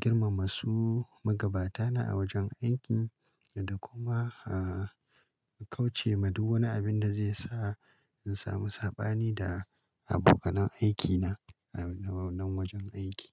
girmama su magabata na a wajen aiki da kuma kauce ma duk wani abin da zai sa in samu saɓani da abokan aiki na a wannan wajen aiki.